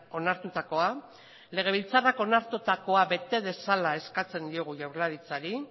onartutakoa legebiltzarrak onartutakoa bete dezala eskatzen diogu jaurlaritzari